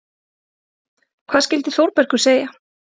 Hvað skyldi Þórbergur segja?